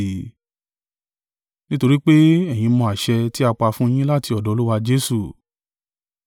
Nítorí pé, ẹ̀yin mọ àṣẹ tí a pa fún yín láti ọ̀dọ̀ Olúwa Jesu.